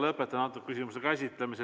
Lõpetan antud küsimuse käsitlemise.